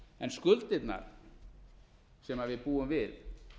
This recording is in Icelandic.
en skuldirnar sem við búum við